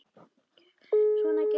Svona gekk þetta.